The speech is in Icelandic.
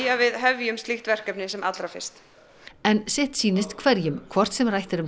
að við hefjum slíkt verkefni sem allra fyrst en sitt sýnist hverjum hvort sem rætt er um